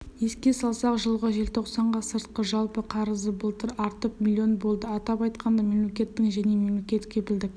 еске салсақ жылғы желтоқсанға сыртқы жалпы қарызыбылтыр артып млн болды атап айтқанда мемлекеттің және мемлекет кепілдік